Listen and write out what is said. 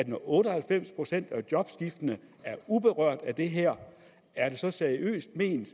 når otte og halvfems procent af jobskiftene er uberørt af det her er det så seriøst ment